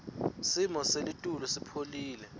simo selitulu sipholile